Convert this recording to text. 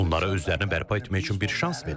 Onlara özlərini bərpa etmək üçün bir şans verim.